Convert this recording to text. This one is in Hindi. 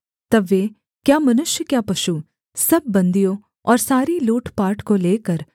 तब वे क्या मनुष्य क्या पशु सब बन्दियों और सारी लूटपाट को लेकर